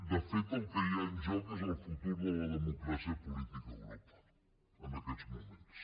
de fet el que hi ha en joc és el futur de la democràcia política a europa en aquests moments